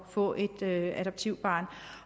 få et adoptivbarn